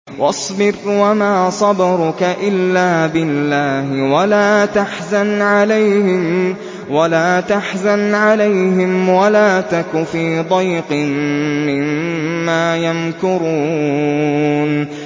وَاصْبِرْ وَمَا صَبْرُكَ إِلَّا بِاللَّهِ ۚ وَلَا تَحْزَنْ عَلَيْهِمْ وَلَا تَكُ فِي ضَيْقٍ مِّمَّا يَمْكُرُونَ